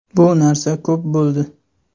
Bu narsa ko‘p bo‘ldi.